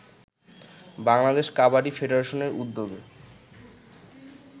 বাংলাদেশ কাবাডি ফেডারেশনের উদ্যোগে